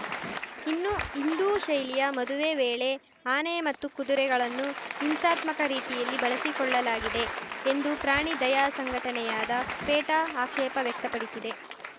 ಇನ್ನು ಹಿಂದೂ ಶೈಲಿಯ ಮದುವೆ ವೇಳೆ ಆನೆ ಮತ್ತು ಕುದುರೆಗಳನ್ನು ಹಿಂಸಾತ್ಮಕ ರೀತಿಯಲ್ಲಿ ಬಳಸಿಕೊಳ್ಳಲಾಗಿದೆ ಎಂದು ಪ್ರಾಣಿ ದಯಾ ಸಂಘಟನೆಯಾದ ಪೇಟಾ ಆಕ್ಷೇಪ ವ್ಯಕ್ತಪಡಿಸಿದೆ